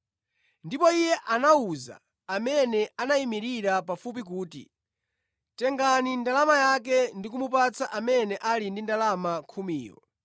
“Ndipo iye anawuza amene anayimirira pafupi kuti, ‘Tengani ndalama yake ndi kumupatsa amene ali ndi ndalama khumiyo!’ ”